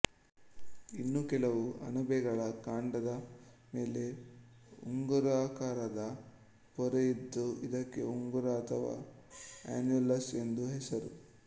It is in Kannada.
ಇನ್ನು ಕೆಲವು ಅಣಬೆಗಳ ಕಾಂಡದ ಮೇಲೆ ಉಂಗುರಾಕಾರದ ಪೊರೆಯಿದ್ದು ಇದಕ್ಕೆ ಉಂಗುರ ಅಥವಾ ಅನ್ಯುಲಸ್ ಎಂದು ಹೆಸರು